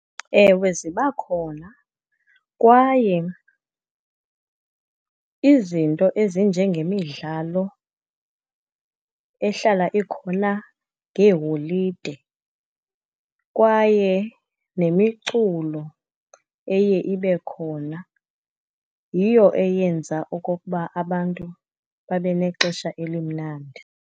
Ewe, ziba khona, kwaye izinto ezinjengemidlalo ehlala ikhona ngeeholide, kwaye nemiculo eye ibe khona yiyo eyenza okokuba abantu babe nexesha elimnandi.